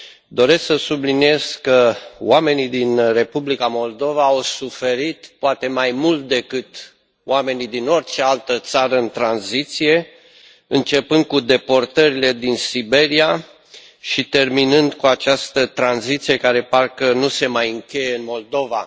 Doresc să subliniez că oamenii din Republica Moldova au suferit poate mai mult decât oamenii din orice altă țară în tranziție începând cu deportările în Siberia și terminând cu această tranziție, care parcă nu se mai încheie în Moldova.